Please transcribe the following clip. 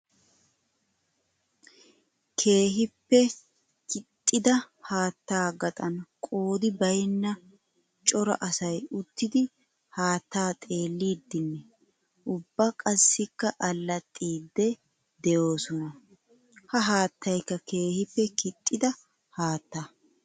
Keehippe kixxidda haatta gaxan qoodi baynna cora asay uttiddi haatta xeelliddinne ubba qassikka alaxxidde de'osonna. Ha haattaykka keehippe kixxidda haatta.